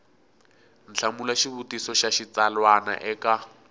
hlamula xivutiso xa xitsalwana eka